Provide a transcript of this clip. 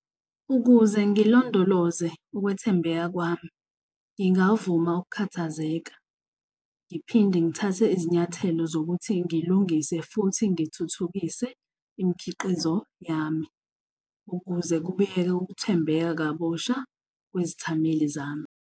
Ukuze ngilondoloze ukwethembeka kwami, ngingavuma ukukhathazeka, ngiphinde ngithathe izinyathelo zokuthi ngilungise futhi ngithuthukise imikhiqizo yami. Ukuze kubuyeke ukuthembeka kabusha kwezithameli zami.